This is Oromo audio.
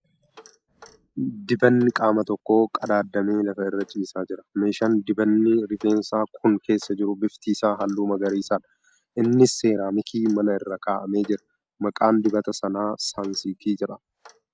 Dibanni qaama tokko qadaadamee lafa irra ciisaa jira .Meeshaan dibanni rifeensaa kun keessa jiru bifti isaa halluu magariisadha . Innis seeraamikii manaa irra kaa'amee jira. Maqaan dibata kanaa ' Saansiilk ' jedhama.